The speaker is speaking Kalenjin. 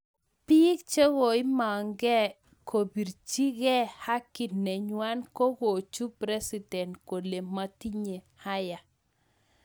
Piik chekoimang Kee kopirchi gee haki nengwang ko kochup president kolen matinye haya.